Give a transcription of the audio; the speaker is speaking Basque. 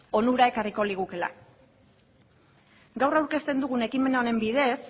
onurak ekarriko ligukeela gaur aurkezten dugun ekimen honen bidez